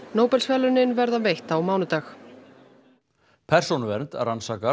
Nóbelsverðlaunin verða veitt á mánudag persónuvernd rannsakar